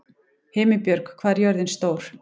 Himinbjörg, hvað er jörðin stór?